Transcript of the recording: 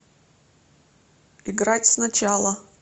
играть сначала